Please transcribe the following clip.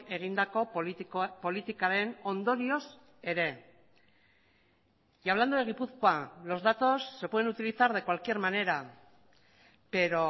egindako politikaren ondorioz ere y hablando de gipuzkoa los datos se pueden utilizar de cualquier manera pero